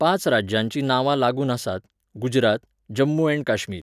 पांच राज्यांची नांवां लागून आसात, गुजरात, जम्मू अँड काश्मीर